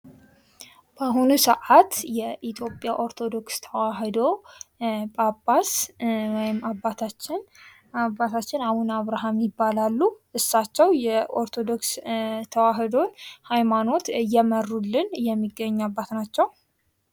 በአሁኑ ሰዓት የኢትዮጵያ ኦርቶዶክስ ተዋህዶ ጳጳስ ወይም አባታችን አቡነ አብርሃም ይባላሉ። እሳቸው የኦርቶዶክስ ተዋህዶ ሃይማኖት እየመሩልን የሚገኙ አባት ናቸው።